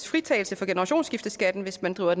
fritagelse for generationsskifteskatten hvis man driver